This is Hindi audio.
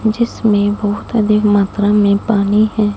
जिसमें बहुत अधिक मात्रा में पानी है।